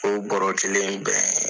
O bɔrɔ kelen in bɛɛ